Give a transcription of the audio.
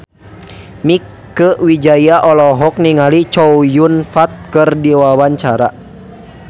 Mieke Wijaya olohok ningali Chow Yun Fat keur diwawancara